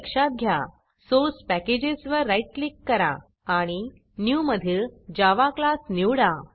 source package source पॅकेजेसवर right click करा आणि Newन्यू मधील जावा Classजावा क्लास निवडा